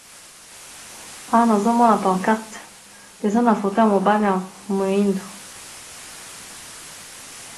awa nazomona poncarte eza na foton ya mobale ya moindo